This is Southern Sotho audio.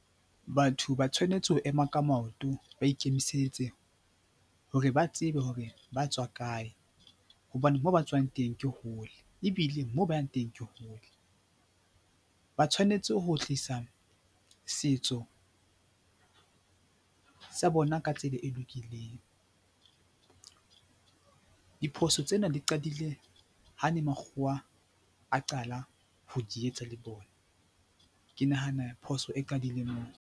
Batho ba tshwanetse ho ema ka maoto, ba ikemisetse hore ba tsebe hore ba tswa kae hobane moo ba tswang teng ke hole ebile moo ba yang teng ke hole. Ba tshwanetse ho tlisa setso sa bona ka tsela e lokileng. Diphoso tsena di qadile ha ne makgowa a qala ho di etsa le bona. Ke nahana phoso e qadile moo.